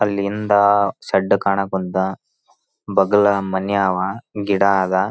ಅಲ್ಲಿ ಹಿಂದ ಶೆಡ್ಡ್ ಕಾಣಕಂತ ಬಗಲಾ ಮನಿ ಅವ ಗಿಡ ಆದ --